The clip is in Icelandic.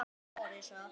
Þetta er bíllinn minn